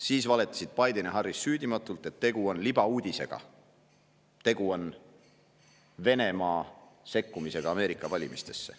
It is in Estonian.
Siis valetasid Biden ja Harris süüdimatult, et tegu on libauudisega, tegu on Venemaa sekkumisega Ameerika valimistesse.